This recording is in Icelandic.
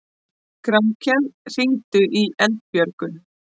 Grankell, hringdu í Eldbjörgu.